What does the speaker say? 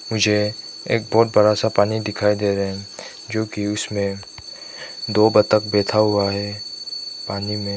मुझे एक बहुत बड़ा सा पानी दिखाई दे रहा है जोकि उसमें दो बत्तख बैठा हुआ है पानी में।